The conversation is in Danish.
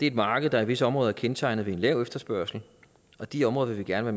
et marked der i visse områder er kendetegnet ved en lav efterspørgsel og de områder vil vi gerne